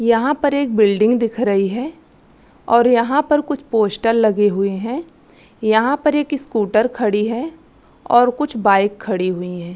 यहाँ पर एक बिल्डिंग दिख रही है और यहाँ पर कुछ पोस्टर लगे हुए है यहाँ पर एक स्कूटर खड़ी है और कुछ बाइक खड़ी हुई है।